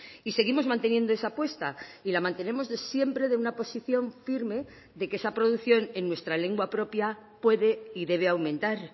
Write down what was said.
y seguimos manteniendo esa apuesta y la mantenemos siempre de una posición firme de que esa producción en nuestra lengua propia puede y debe aumentar